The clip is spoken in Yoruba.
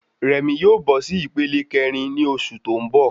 Rẹ̀mí yóò bọ sí ìpele kẹrin ni oṣù tó n bọ